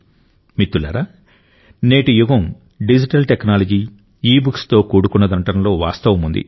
మిత్రులారా నేటి యుగం డిజిటల్ టెక్నాలజీ ఇబుక్స్తో కూడుకున్నదనడంలో వాస్తవముంది